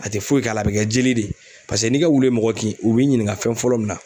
A te foyi k'a la ,a be kɛ joli de ye. Paseke n'i ka wulu ye mɔgɔ kin u b'i ɲininka fɛn fɔlɔ min na